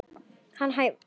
Hann æfir líka.